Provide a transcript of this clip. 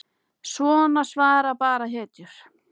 Svona svara bara hetjur.